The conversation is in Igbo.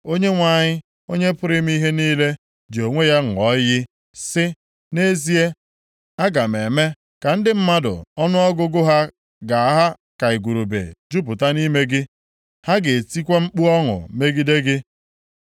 Onyenwe anyị, Onye pụrụ ime ihe niile ji onwe ya ṅụọ iyi, sị, Nʼezie, aga m eme ka ndị mmadụ ọnụọgụgụ ha ga-aha ka igurube jupụta nʼime gị. Ha ga-etikwa mkpu ọṅụ megide gị.